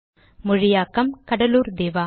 மொழியாக்கம் கடலூர் திவா